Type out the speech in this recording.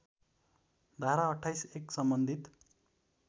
धारा २८ १ सम्बन्धित